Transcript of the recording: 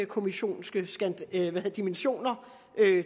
kommissions dimensioner